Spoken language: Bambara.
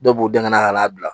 Dɔ b'u den ka na ka n'a bila